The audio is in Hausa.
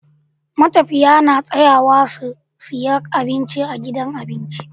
Matafiya na tsayawa su siya abinci a gidan abinci